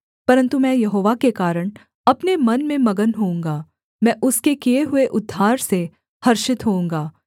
परन्तु मैं यहोवा के कारण अपने मन में मगन होऊँगा मैं उसके किए हुए उद्धार से हर्षित होऊँगा